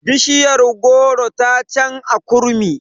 Bishiyar goro ta can a kurmi